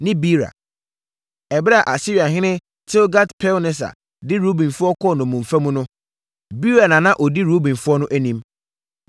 ne Beera. Ɛberɛ a Asiriahene Tilgat-Pilneser de Rubenfoɔ kɔɔ nnommumfa mu no, Beera na na ɔdi Rubenfoɔ no anim.